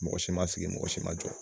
Mɔgɔ si ma sigi mɔgɔ si ma jɔ